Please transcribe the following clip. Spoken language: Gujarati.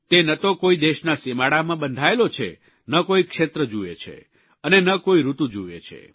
તે ન તો કોઇ દેશના સીમાડામાં બંધાયેલો છે ન કોઇ ક્ષેત્ર જુવે છે અને ન કોઇ ઋતુ જુવે છે